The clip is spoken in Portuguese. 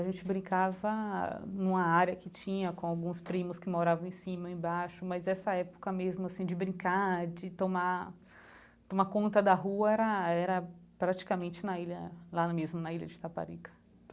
A gente brincava numa área que tinha com alguns primos que moravam em cima e embaixo, mas essa época mesmo assim de brincar, de tomar tomar conta da rua era era praticamente na ilha lá mesmo na ilha de Itaparica.